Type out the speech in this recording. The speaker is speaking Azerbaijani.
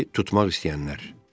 Kiberi tutmaq istəyənlər.